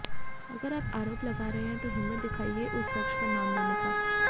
अगर आप आरोप लगा रहे हैं तो हिम्मत दिखाइए उस शख्स का नाम लेने का